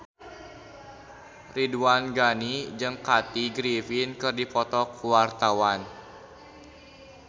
Ridwan Ghani jeung Kathy Griffin keur dipoto ku wartawan